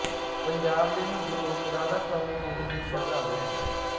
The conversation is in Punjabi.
ਪੰਜਾਬ ਦੇ ਹਿੰਦੂ ਲੋਕ ਰਾਧਾ ਸੁਆਮੀ ਡੇਰੇ ਦੇ ਸ਼ਰਧਾਲੂ ਹਨ